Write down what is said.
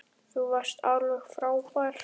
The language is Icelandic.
Þú varst alveg frábær.